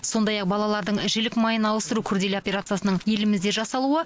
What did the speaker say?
сондай ақ балалардың жілік майын ауыстыру күрделі операциясының елімізде жасалуы